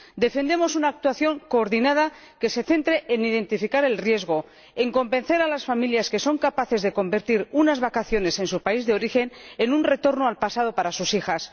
Defendemos una actuación coordinada que se centre en identificar el riesgo, en convencer a las familias que son capaces de convertir unas vacaciones en su país de origen en un retorno al pasado para sus hijas.